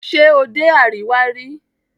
Ṣe o dé Àríwá rí?